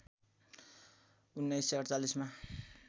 १९४८ मा